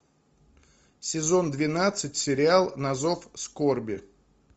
сезон двенадцать сериал на зов скорби